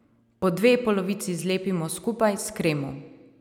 Po dve polovici zlepimo skupaj s kremo.